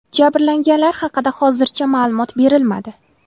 Jabrlanganlar haqida hozircha ma’lumot berilmadi.